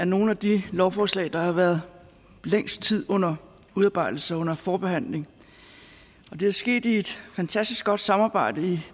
nogle af de lovforslag der har været længst tid under udarbejdelse under forbehandling det er sket i et fantastisk godt samarbejde